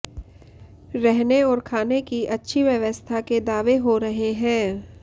रहने और खाने की अच्छी व्यवस्था के दावे हो रहे हैं